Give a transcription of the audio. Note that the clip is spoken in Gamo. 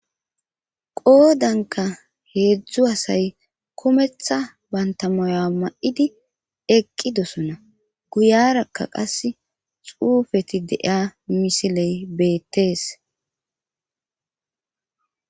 qoodanka heedzdzu hasay kometha banta moya ma7idi eqqidosona guyarakka qas xuufeti deiya misiley beettees